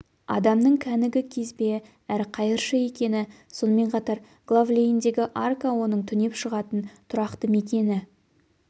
адамның кәнігі кезбе әрі қайыршы екені сонымен қатар глав-лейндегі арка оның түнеп шығатын тұрақты мекені